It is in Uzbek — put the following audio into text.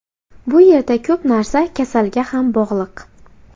Bu yerda ko‘p narsa kasalga ham bog‘liq.